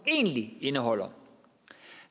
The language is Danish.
egentlig indeholder